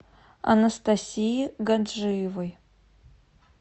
анастасии гаджиевой